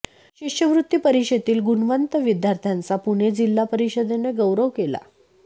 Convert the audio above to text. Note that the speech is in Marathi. शिष्यवृत्ती परीक्षेतील गुणवंत विद्यार्थ्यांचा पुणे जिल्हा परिषदेने गौरव केला